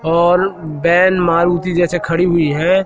औल van Maruti जैसे खड़ी हुई है।